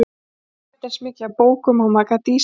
Éta eins mikið af bókum og maður gat í sig látið.